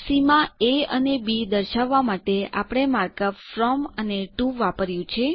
સીમા A અને B દર્શાવવા માટે આપણે માર્ક અપ ફ્રોમ અને ટીઓ વાપર્યું છે